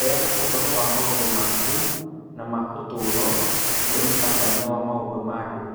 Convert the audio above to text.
Heana ũhoro wa maũndũ maku na ma ũtũũro kũrĩ mũtabania wa maũndũ ma andũ.